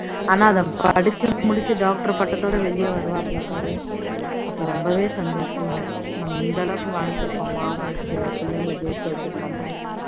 ஆனா அதை படீச்சு முடிச்சு பட்டத்தொட வெளிய வருவாப்ல பாரு அப்போ ரொம்பே சந்தோஷமா இருக்கும் நம்ம இந்த அளவுக்கு வாழ்ந்துருக்கோமா வாழ்க்கையில புள்ளைங்களை ஜெயிக்க வச்சிருக்கோமா